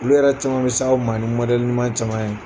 Olu yɛrɛ caman bɛ s'aw ma ni ɲuman caman ye.